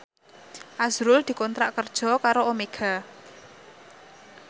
azrul dikontrak kerja karo Omega